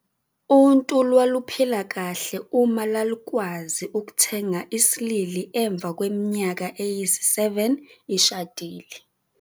untu lwaluphila kahle uma lwalukwazi ukuthenga isilili emva kweminyaka eyisi-7 ishadile.